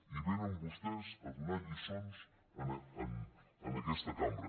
i vénen vostès a donar lliçons en aquesta cambra